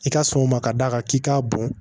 I ka sɔn o ma ka d'a kan k'i k'a bon